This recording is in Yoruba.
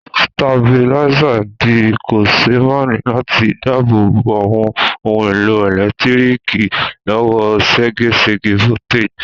Stabilizer ti di kòsémaní láti dábò bo àwon oun èlò ẹ̀lẹ́ntíriki lọ́wọ́ ségesège voltage